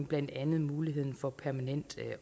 blandt andet muligheden for permanent